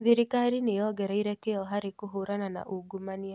Thirikari nĩ yongereire kĩyo harĩ kũhũrana na ungumania